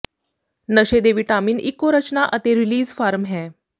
ਨਸ਼ੇ ਦੇ ਿਵਟਾਿਮਨ ਇੱਕੋ ਰਚਨਾ ਅਤੇ ਰੀਲੀਜ਼ ਫਾਰਮ ਹੈ